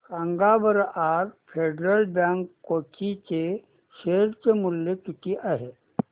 सांगा बरं आज फेडरल बँक कोची चे शेअर चे मूल्य किती आहे